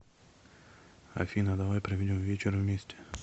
афина давай проведем вечер вместе